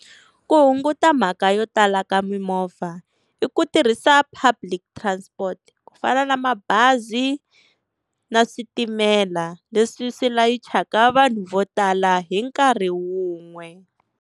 Ku hunguta mhaka yo tala ka mimovha i ku tirhisa public transport, ku fana na mabazi na switimela leswi swi layichaka vanhu vo tala hi nkarhi wun'we.